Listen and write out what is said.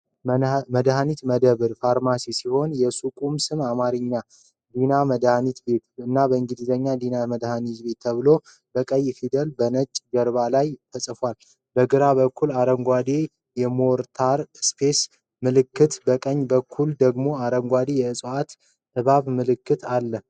የመድኃኒት መደብር (ፋርማሲ) ሲሆን የሱቁ ስም በአማርኛ "ዲና መድሃኒት ቤት" እና በእንግሊዝኛ "Dina Pharmacy" ተብሎ በቀይ ፊደላት በነጭ ጀርባ ላይ ተጽፏል። በግራ በኩል አረንጓዴ የሞርታርና ፔስትል ምልክት፣ በቀኝ በኩል ደግሞ አረንጓዴ የጽዋና እባብ ምልክት አሉ።